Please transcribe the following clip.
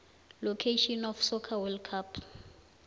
location of soccer world cups